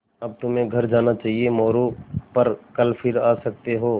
अब तुम्हें घर जाना चाहिये मोरू पर कल फिर आ सकते हो